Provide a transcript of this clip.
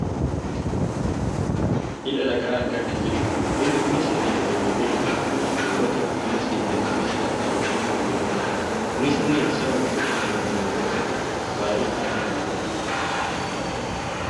hidha lagaa argaa kan jirrudha . hidhi kunis hidha laga gibee irratti hojjatame yoo ta'u innis Gilgel Gibee sadaffaa jedhamuun kan beekamudha. kunis humna ibsaa oomishuuf kan nu gargaaru yoo ta'u baayyee fayidaa kan qabudha.